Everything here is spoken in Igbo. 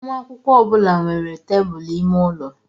Nwa akwụkwọ ọ bụla nwere tebụl ime ụlọ.